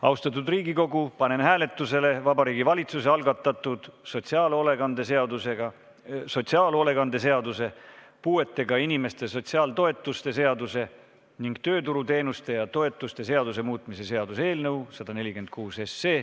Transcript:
Austatud Riigikogu, panen hääletusele Vabariigi Valitsuse algatatud sotsiaalhoolekande seaduse, puuetega inimeste sotsiaaltoetuste seaduse ning tööturuteenuste ja -toetuste seaduse muutmise seaduse eelnõu.